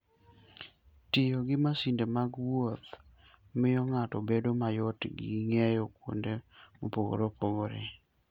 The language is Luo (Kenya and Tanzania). Tiyo gi masinde mag wuoth miyo ng'ato bedo mayot ng'iyo kuonde mopogore opogore.